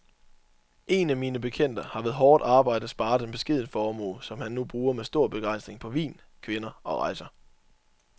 Én af mine bekendte har ved hårdt arbejde sparet en beskeden formue, som han nu bruger med stor begejstring på vin, kvinder og rejser.